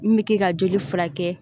Min bɛ kɛ ka joli furakɛ